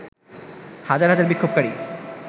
হাজার হাজার বিক্ষোভকারী